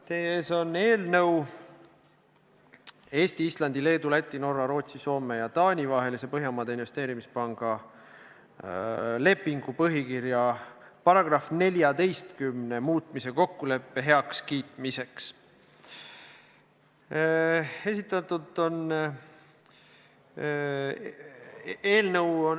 Teie ees on eelnõu Eesti, Islandi, Leedu, Läti, Norra, Rootsi, Soome ja Taani vahelise Põhjamaade Investeerimispanga lepingu põhikirja paragrahvi 14 muutmise kokkuleppe heakskiitmiseks.